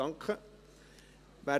– Das ist der Fall.